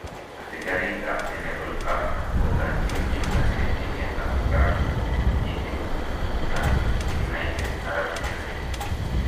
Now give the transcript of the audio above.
asigariik ap general Hafter kogachin kimnatet emet ap France, Egypt ag United Arab Emirates